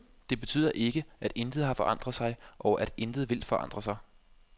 Det betyder ikke, at intet har forandret sig, og at intet vil forandre sig.